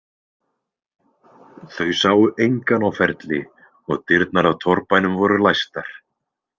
Þau sáu engan á ferli og dyrnar að torfbænum voru læstar.